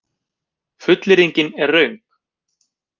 Fullyrðingin er röng.